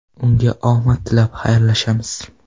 Unga omad tilab, xayrlashamiz.